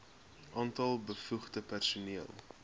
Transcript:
aantal bevoegde personeel